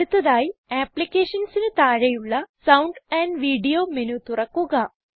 അടുത്തതായി Applicationsന് താഴെയുള്ള സൌണ്ട് വീഡിയോ മെനു തുറക്കുക